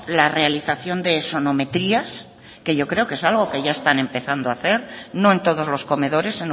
la realización de sonometrías que yo creo que es algo que ya están empezando hacer no en todos los comedores